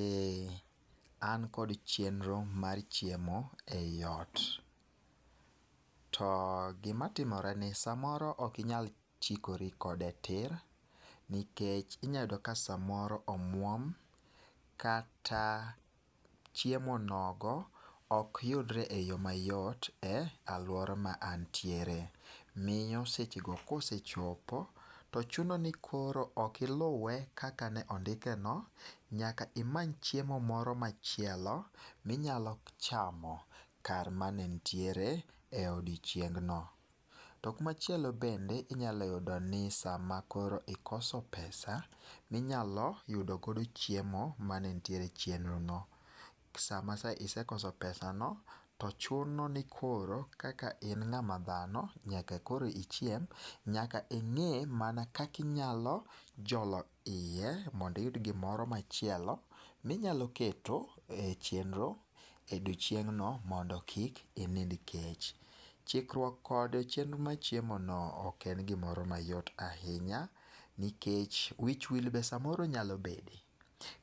Eh an kod chenro mar chiemo eiot. To gima timore ni samoro ok inyal chikori kode tir nikech inyalo yudo ka samoro omuom kata chiemo nogo ok yudre eyo mayot e aluora ma antiere. Miyo sechego kosechopo, to chuno ni koro ok iluwe kaka ne ondikeno, nyaka imany chiemo moro machielo minyalo chamo kar mane nitiere e odiechieng no. To kumachielo bende, inyalo yudo ni sama koro ikoso pesa minyalo yudo godo chiemo mane nitiere e chenro no. Sama isekoso pesano, to chuno nikoro kaka in ng'ama dhano, nyaka koro ichiem, nyaka ing'e mana kaka inyalo jolo iye mondo iyud gimoro machielo minyalo keto e chenro e odiechieng no mondo kik inind kech. Chikruok kod chenro mar chiemono ok en gimoro mayot ahinya nikech wich wi be samoro nyalo bede,